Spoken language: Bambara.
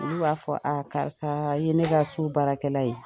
Olu b'a fɔ a karisa i ye ne ka so baarakɛla ye